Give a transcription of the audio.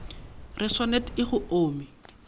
re swanet e go omi